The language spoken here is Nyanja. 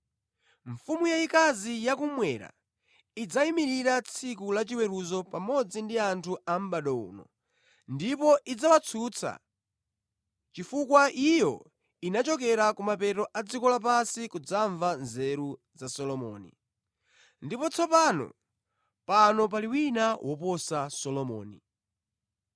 Mfumu yayikazi yakummwera idzayimirira tsiku lachiweruzo pamodzi ndi anthu a mʼbado uno ndipo idzawatsutsa, chifukwa iyo inachokera kumapeto a dziko lapansi kudzamva nzeru za Solomoni. Ndipo tsopano pano pali wina woposa Solomoni.